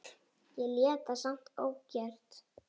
Ég lét það samt ógert.